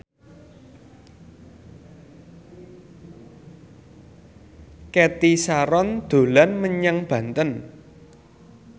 Cathy Sharon dolan menyang Banten